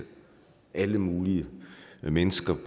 alle mulige mennesker